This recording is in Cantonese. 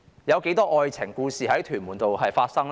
有多少愛情故事在屯門公路上發生呢？